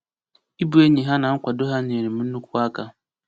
Ịbụ enyi ha na nkwado ha nyere m nnukwu aka.